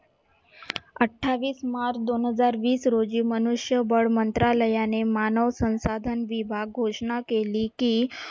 अठ्ठावीस मार्च दोनहजार वीस रोजी मनुष्यबळ मंत्रालयाने मानव संसाधन घोषणा केली की,